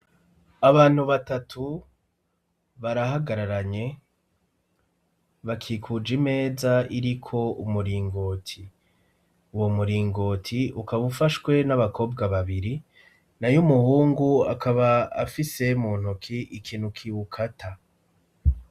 Abantu batatu barahagararanye bakikuja imeza iri ko umuringoti uwo muringoti ukabaufashwe n'abakobwa babiri na yo umuhungu akaba afise mu ntuki ikintu ki ukata.